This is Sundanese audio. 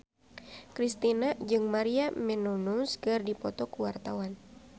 Kristina jeung Maria Menounos keur dipoto ku wartawan